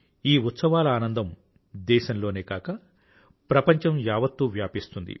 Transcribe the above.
ఈ ఉత్సవాల ఆనందం దేశంలోనే కాక ప్రపంచం యావత్తు వ్యాపిస్తుంది